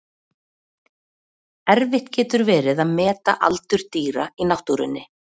Erfitt getur verið að meta aldur dýra í náttúrunni.